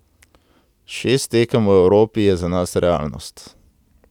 Šest tekem v Evropi je za nas realnost.